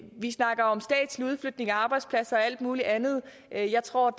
vi snakker om statslig udflytning af arbejdspladser og alt muligt andet men jeg tror